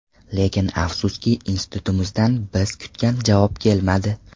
Lekin afsuski, institutimizdan biz kutgan javob kelmadi.